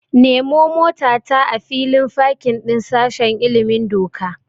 Nemo motata a filin fakin din sashen ilimin doka.